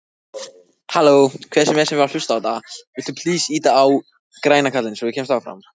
Skrifarinn kinkaði kolli við og við.